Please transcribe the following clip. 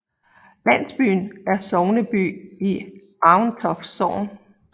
Landsbyen er sogneby i Aventoft Sogn